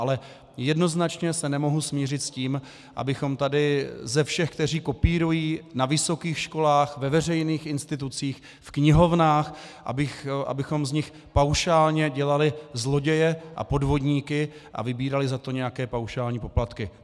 Ale jednoznačně se nemohu smířit s tím, abychom tady ze všech, kteří kopírují na vysokých školách, ve veřejných institucích, v knihovnách, abychom z nich paušálně dělali zloděje a podvodníky a vybírali za to nějaké paušální poplatky.